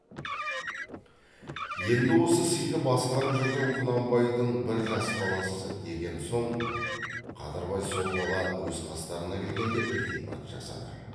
енді осы сыйды басқарып жүрген құнанбайдың бір жас баласы деген соң қадырбай сол бала өз қастарына келгенде ілтипат жасады